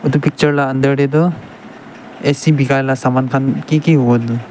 edu picture la under de toh A_C bikai la saman khan ki ki hobo edu.